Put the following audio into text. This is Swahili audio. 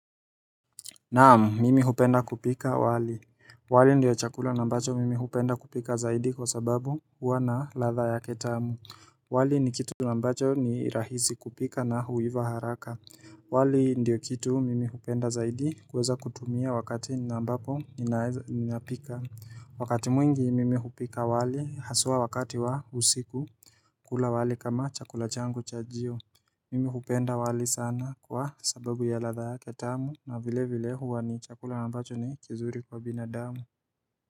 Naam, mimi hupenda kupika wali. Wali ndio chakula na ambacho mimi hupenda kupika zaidi kwa sababu huwa na ladha yake tamu. Wali ni kitu na ambacho ni rahisi kupika na huiva haraka. Wali ndio kitu mimi hupenda zaidi kuweza kutumia wakati na ambapo ninapika. Wakati mwingi mimi hupika wali haswa wakati wa usiku kula wali kama chakula changu chajio. Mimi kupenda wali sana kwa sababu ya ladha yake tamu na vile vile huwa ni chakula na ambacho ni kizuri kwa binadamu.